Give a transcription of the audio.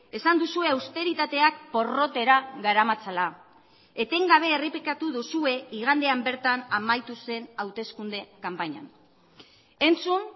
esan duzue austeritateak porrotera garamatzala etengabe errepikatu duzue igandean bertan amaitu zen hauteskunde kanpainan entzun